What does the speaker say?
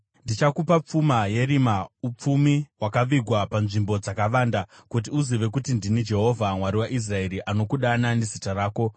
Ndichakupa pfuma yerima, upfumi hwakavigwa panzvimbo dzakavanda, kuti uzive kuti ndini Jehovha, Mwari waIsraeri, anokudana nezita rako.